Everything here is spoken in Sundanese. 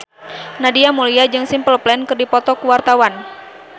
Nadia Mulya jeung Simple Plan keur dipoto ku wartawan